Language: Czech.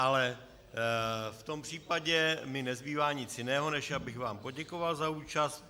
Ale v tom případě mi nezbývá nic jiného, než abych vám poděkoval za účast.